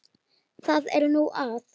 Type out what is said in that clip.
Það er nú það?